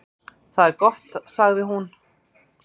"""Það er gott, sagði hún."""